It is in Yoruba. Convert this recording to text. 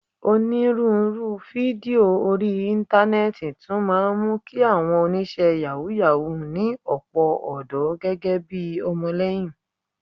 Onírúurú fídíò orí Íńtánẹ́ẹ̀tì tún máa ń mú kí àwọn oníṣẹ́ yàwúù-yàwúù ní ọ̀pọ̀ ọ̀dọ́ gẹ́gẹ́ bi ọmọlẹ́yìn